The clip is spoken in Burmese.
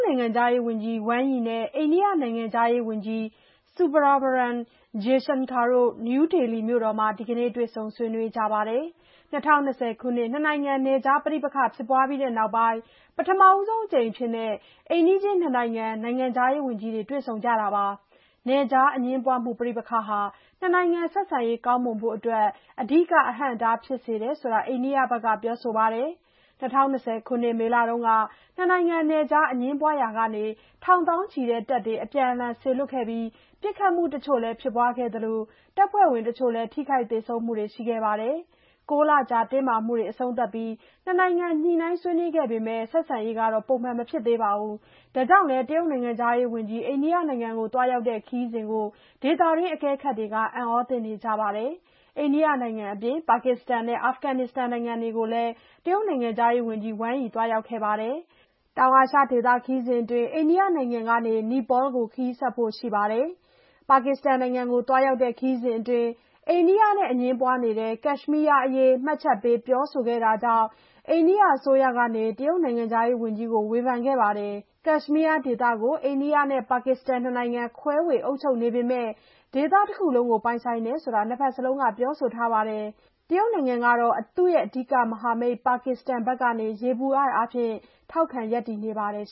ိုင်ငံခြားရေးဝန်ကြီး Wang Yi နဲ့ အိန္ဒိယနိုင်ငံခြားရေးဝန်ကြီး Subrahmanyam Jaishankar တို့ နယူးဒေလီမြို့တော်မှာ ဒီကနေ့ တွေ့ဆုံဆွေးနွေးကြပါတယ်။ ၂၀၂၀ ခုနှစ် နှစ်နိုင်ငံနယ်ခြားပဋိပက္ခ ဖြစ်ပွားပြီးနောက်ပိုင်း ပထမဆုံးအကြိမ်အဖြစ် အိမ်နီးချင်းနှစ်နိုင်ငံ နိုင်ငံခြားရေးဝန်ကြီးတွေ တွေ့ဆုံတာပါ။ နယ်ခြားအငြင်းပွားမှု ပဋိပက္ခဟာ နှစ်နိုင်ငံဆက်ဆံရေးကောင်းမွန်ဖို့အတွက် အဓိက အဟန့်အတားဖြစ်စေတယ်ဆိုတာ အိန္ဒိယဘက်က ပြောဆိုပါတယ်။ ၂၀၂၀ ခုနှစ် မေလက နှစ်နိုင်ငံနယ်ခြား အငြင်းပွားရာကနေ ထောင်သောင်းချီတဲ့ တပ်တွေ အပြန်အလှန် စေလွှတ်ခဲ့ပြီး ပစ်ခတ်မှုတချို့လည်း ဖြစ်ပွားခဲ့သလို တပ်ဖွဲ့ဝင်တချို့ ထိခိုက်သေဆုံးမှုတွေလည်း ရှိခဲ့ပါတယ်။ ၉ လကြာ တင်းမာမှုတွေ အဆုံးသတ်ပြီး နှစ်နိုင်ငံ ညှိနှိုင်းဆွေးနွေးခဲ့ပေမယ့် ဆက်ဆံရေး ပုံမှန်ပြန်မဖြစ်သေးပါဘူး။ ဒါကြောင့် လည်း တရုတ်နိုင်ငံခြားရေးဝန်ကြီး အိန္ဒိယနိုင်ငံသွားရောက်တဲ့ ခရီးစဉ်ကို ဒေသတွင်းအကဲခတ်တွေ အံအားသင့်နေကြပါ တယ်။ အိန္ဒိယနိုင်ငံအပြင် ပါကစ္စတန်နဲ့ အာဖဂန်နစ္စတန်နိုင်ငံတွေကိုလည်း ဝန်ကြီး Wang Yi သွားခဲ့ပါတယ်။ တောင်အာရှဒေသ ခရီးစဉ်အတွင်း အိန္ဒိယနိုင်ငံကနေ နီပေါလ်ကို ခရီးဆက်ဖို့ရှိပါတယ်။ ပါကစ္စတန်နိုင်ငံကို သွားရောက်တဲ့ခရီးစဉ်အတွင်း အိန္ဒိယနဲ့အငြင်းပွားနေတဲ့ ကက်ရှ် မီး ယားအရေး မှတ်ချက်ပေး ပြောဆိုခဲ့တာ ကြောင့် အိန္ဒိယအစိုးရက ဝန်ကြီး Wang Yi ကို ဝေဖန်ခဲ့ပါတယ်။ ကက်ရှ်မီးယားဒေသကို အိန္ဒိယနဲ့ ပါကစ္စတန် နှစ်နိုင်ငံ ခွဲဝေ အုပ်ချုပ်နေပေမယ့် ဒေသတခုလုံးကို ပိုင်ဆိုင်တယ်လို့ နှစ်ဘက်စလုံးကပြောနေပြီး တရုတ်နိုင်ငံကတော့ သူ့ရဲ့ အဓိကမဟာမိတ် ပါကစ္စတန်ဘက်က ယေဘုယျအားဖြင့် ထောက်ခံ ရပ်တည်နေပါတယ်